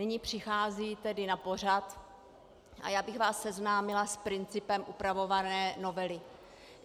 Nyní přichází tedy na pořad a já bych vás seznámila s principem upravované novely.